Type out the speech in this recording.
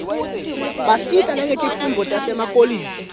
basita nangetifundvo tasemakolishi